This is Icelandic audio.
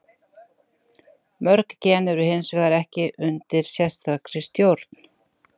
Mörg gen eru hins vegar ekki undir sérstakri stjórn.